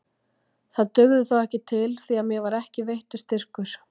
Það dugði þó ekki til því að mér var ekki veittur styrkur.